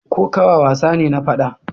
Kokawa wasa ne na fada.